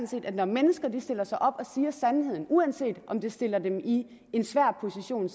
set at når mennesker stiller sig op og siger sandheden uanset om det stiller dem selv i en svær position